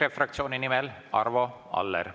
EKRE fraktsiooni nimel Arvo Aller, palun!